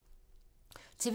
TV 2